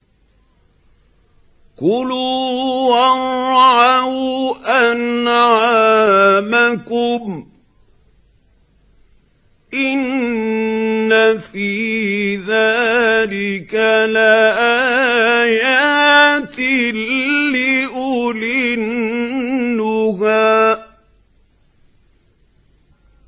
كُلُوا وَارْعَوْا أَنْعَامَكُمْ ۗ إِنَّ فِي ذَٰلِكَ لَآيَاتٍ لِّأُولِي النُّهَىٰ